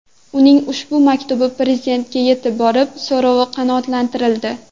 Uning ushbu maktubi Prezidentga yetib borib, so‘rovi qanoatlantirildi .